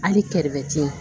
Hali kɛrɛfɛ te ye